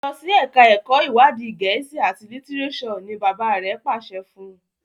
Losi èka èko iwadi Gèésì at litireso! ní bàbá rẹ pàṣẹ fún.